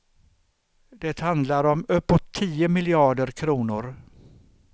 Det handlar om uppåt tio miljarder kronor.